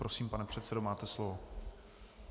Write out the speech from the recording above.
Prosím, pane předsedo, máte slovo.